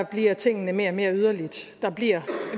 bliver tingene mere og mere yderlige og der bliver